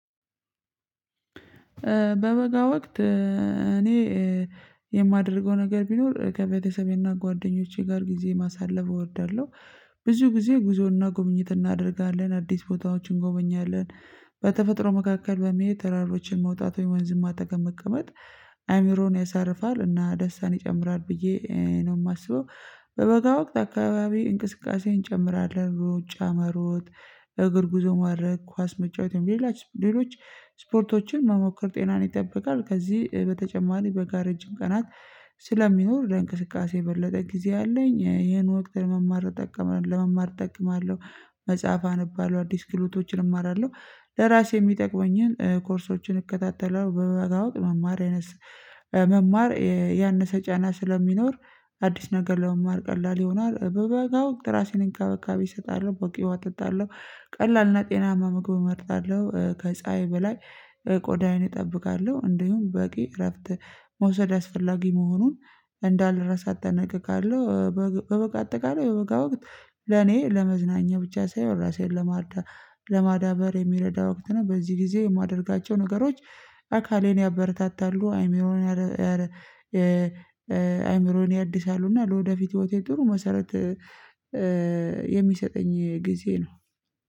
በበጋ ወቅት እኔ የማደርገው ነገር ቢኖር ከበተሰቤ እና ጓደኞቼ ጋር ጊዜ ማሳለፍ እወዳለሁ ብዙ ጊዜ ጉዞ እና ጉብኝት እናደርጋለን። አዲስ ቦታዎችን እንጎበኛለን። በተፈጥሮ መካከል በመሄድ ተራሮችን መውጣት ወይም ወንዝም አጠገብ መጠቀም አእምሮን ያሳርፋል እና ደስታን ይጨምራል ብዬ ነው የማስበው በበጋ ወቅት አካባቢ እንቅቃሴ እንጨምራለን ሩጫ መሮጥ እግር ጉዞ ማድርገግ ኳስ መጫወትም ለሎች ስፖርቶችን መሞከር ጤናን ይጠብቃል። ከዚህ በተጨማሪ በጋ ረጅም ቀናት ስለሚኖር ለእንቅስቃሴ የበለጠ ጊዜ አለኝ ይሀን ወቅት ለመማር እጠቀምበታለሁ ለመማር እጠቀምበታለሁ መጽሐፍ አንብበታለሁ አዲስ ክህሎቶችን እማራለሁ ለራሴ የሚተቅሙኝን ኮርሶችን እከታተላለሁ በበጋ ወቅት መማር መማር ያንሰ ጫና ስለሚኖር አዲስ ነገር ለመማር ቀላል ይሆናል በበጋው ወቅት እራሴን እንክብካቤ እሰጣለሁ በቂ ውሃ እጠጣለሁ ቀላል እና ጤናማ ምግብ እመርጣለሁ ከፀሀይ በላይ ቆዳዬን እጠብቃለሁ እንዲሁም በቂ እረፍት መውሰድ አስፈላጊ መሆኑን እንዳልረሳ እጠነቀቃለሁ በበጋ አተቃላይ በበጋ ወቅት ለነ ለመዝናኛ ብቻ ሳይሆን ራሰን ለማዳበር የሚረዳ ወቅት ነው። በዚህ ጊዜ የማደርግቸው ነገሮች አካልን ያበረታታሉ አይምሮን አይምሮን ያድሳሉ እና ለወደፊት ህይወቴ ትሩ መሰረት የሚሰተኝ ጊዜ ነው